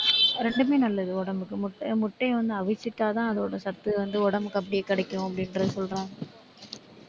ரெண்டுமே நல்லது உடம்புக்கு முட்டை முட்டையை வந்து அவிச்சிட்டாதான் அதோட சத்து வந்து உடம்புக்கு அப்படியே கிடைக்கும் அப்படின்றதை சொல்றாங்க.